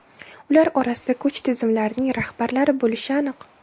Ular orasida kuch tizimlarining rahbarlari bo‘lishi aniq.